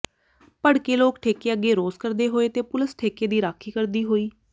ਭੜਕੇ ਲੋਕ ਠੇਕੇ ਅਗੇ ਰੋਸ ਕਰਦੇ ਹੋਏ ਤੇ ਪੁਲਸ ਠੇਕੇ ਦੀ ਰਾਖੀ ਕਰਦੀ ਹੋਈ